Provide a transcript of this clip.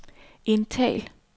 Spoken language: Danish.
indtal